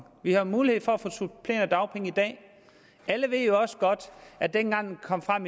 vi har mulighed for at få supplerende dagpenge i dag alle ved jo også godt at dengang det kom frem